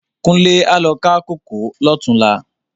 Kunle á lo ká kókòó lòtúnlá